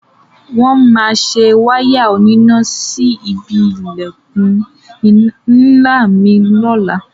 Wọ́n máa se wáyà oníná síbi ilẹ̀kùn ńlá mi ní ọ̀la.